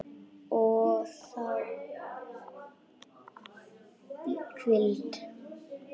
Og ég þarf hvíld.